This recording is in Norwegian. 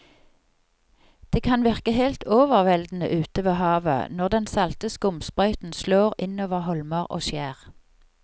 Det kan virke helt overveldende ute ved havet når den salte skumsprøyten slår innover holmer og skjær.